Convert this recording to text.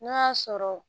N'o y'a sɔrɔ